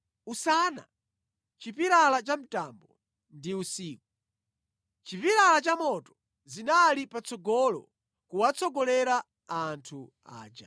Usana, chipilala cha mtambo ndi usiku, chipilala cha moto zinali patsogolo kuwatsogolera anthu aja.